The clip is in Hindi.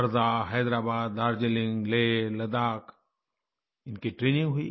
वर्धा हैदराबाद दार्जिलिंग लेह लद्दाख इनकी ट्रेनिंग हुई